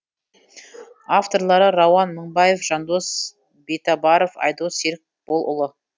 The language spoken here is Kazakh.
авторлары рауан мыңбаев жандос битабаров айдос серікболұлы